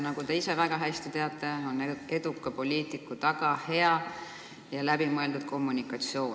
Nagu te ise väga hästi teate, on eduka poliitiku taga hea ja läbimõeldud kommunikatsioon.